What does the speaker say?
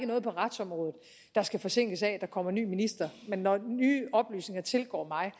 noget på retsområdet der skal forsinkes af at der kommer ny minister men når nye oplysninger tilgår mig